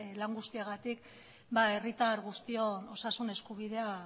lan guztiagatik herritar guztion osasun eskubidea